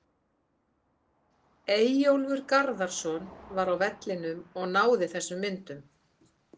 Eyjólfur Garðarsson var á vellinum og náði þessum myndum.